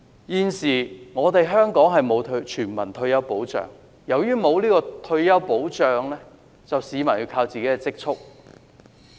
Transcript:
現時香港並無全民退休保障，由於沒有退休保障，市民便要靠積蓄。